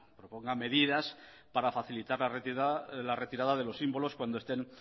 proponga medidas para facilitar la retirada de los símbolos cuando estén